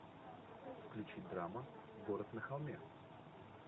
включи драма город на холме